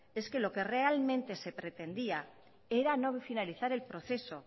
es que lo que realmente se pretendía era no finalizar el proceso